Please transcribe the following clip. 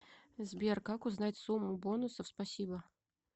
сбер как узнать сумму бонусов спасибо